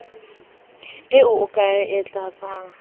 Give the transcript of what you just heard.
eo o ka e tlatsang